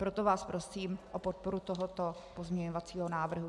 Proto vás prosím o podporu tohoto pozměňovacího návrhu.